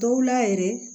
Dɔw la yɛrɛ